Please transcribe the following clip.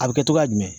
A bɛ kɛ togoya jumɛn